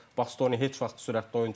Bastoni heç vaxt sürətli oyunçu olmayıb.